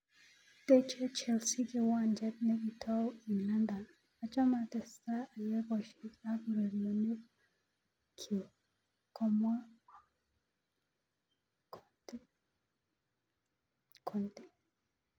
Teche Chelsea kiwanjet nekitou eng London" Ochome atestai ayai boishet ak urerenoik kyuk ,komwa Conte.